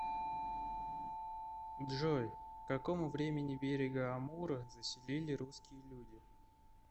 джой к какому времени берега амура заселили русские люди